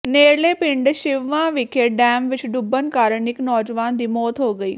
ਨੇੜਲੇ ਪਿੰਡ ਸਿੱਸਵਾਂ ਵਿਖੇ ਡੈਮ ਵਿਚ ਡੁੱਬਣ ਕਾਰਨ ਇਕ ਨੌਜਵਾਨ ਦੀ ਮੌਤ ਹੋ ਗਈ